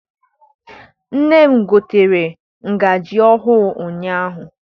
Nne m gotere ngazi ọhụụ ụnyaahụ.